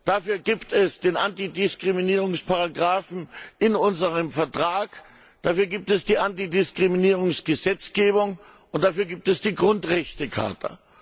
Dafür gibt es den Antidiskriminierungsparagraphen in unserem Vertrag, dafür gibt es die Antidiskriminierungsgesetzgebung, und dafür gibt es die Grundrechtecharta.